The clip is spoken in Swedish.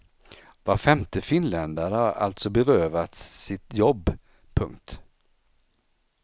Var femte finländare har alltså berövats sitt jobb. punkt